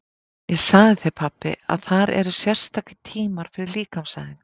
Ég sagði þér pabbi að þar eru sérstakir tímar fyrir líkamsæfingar.